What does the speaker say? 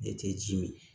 Ne tɛ ji mi